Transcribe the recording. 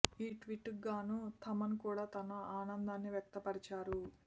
ఈ ట్వీట్ కు గాను థమన్ కూడా తన ఆనందాన్ని వ్యక్త పరిచారు